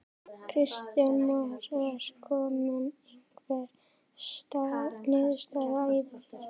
Kristján Már: Er komin einhver niðurstaða í því?